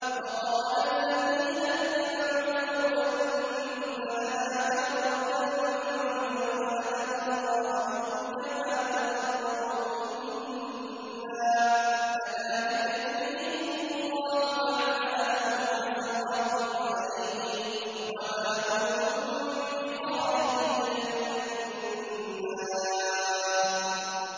وَقَالَ الَّذِينَ اتَّبَعُوا لَوْ أَنَّ لَنَا كَرَّةً فَنَتَبَرَّأَ مِنْهُمْ كَمَا تَبَرَّءُوا مِنَّا ۗ كَذَٰلِكَ يُرِيهِمُ اللَّهُ أَعْمَالَهُمْ حَسَرَاتٍ عَلَيْهِمْ ۖ وَمَا هُم بِخَارِجِينَ مِنَ النَّارِ